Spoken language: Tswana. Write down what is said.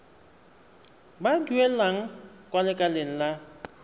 ba duelang kwa lekaleng la